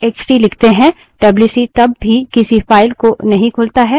इसके बजाय standard in stdin से input लेने लगता है